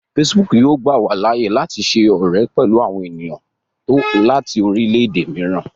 Facebook yóò gbà wá láàyè láti ṣe ọrẹ pẹlú àwọn ènìyàn láti orilẹ-ède mìíràn